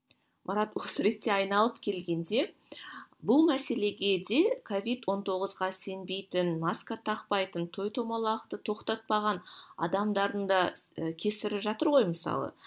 марат осы ретте айналып келгенде бұл мәселеге де ковид он тоғызға сенбейтін маска тақпайтын той томалақты тоқтатпаған адамдардың да кесірі жатыр ғой мысалы